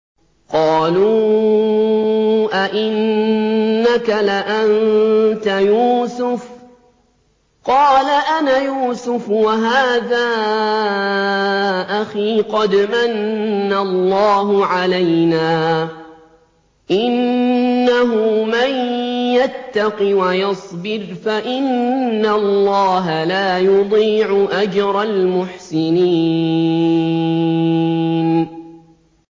قَالُوا أَإِنَّكَ لَأَنتَ يُوسُفُ ۖ قَالَ أَنَا يُوسُفُ وَهَٰذَا أَخِي ۖ قَدْ مَنَّ اللَّهُ عَلَيْنَا ۖ إِنَّهُ مَن يَتَّقِ وَيَصْبِرْ فَإِنَّ اللَّهَ لَا يُضِيعُ أَجْرَ الْمُحْسِنِينَ